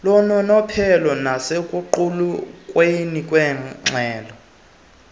lononophelo nasekuqulunqweni kweengxelo